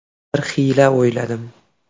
Bir xiyla o‘yladim.